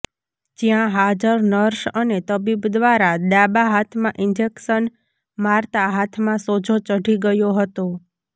જયાં હાજર નર્સ અને તબીબ દ્વારા ડાબા હાથમાં ઈન્જેકશન મારતા હાથમાં સોજો ચઢી ગયો હતો